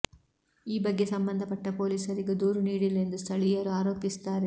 ಈ ಬಗ್ಗೆ ಸಂಬಂಧಪಟ್ಟ ಪೊಲೀಸರಿಗೂ ದೂರು ನೀಡಿಲ್ಲ ಎಂದು ಸ್ಥಳೀಯರು ಆರೋಪಿಸುತ್ತಾರೆ